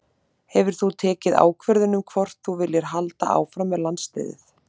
Hefur þú tekið ákvörðun um hvort að þú viljir halda áfram með landsliðið?